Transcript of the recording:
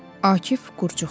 Akif qurcuqdu.